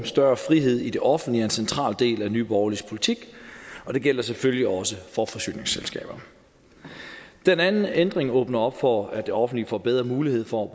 større frihed i det offentlige er en central del af nye borgerliges politik og det gælder selvfølgelig også for forsyningsselskaber den anden ændring åbner op for at det offentlige får bedre mulighed for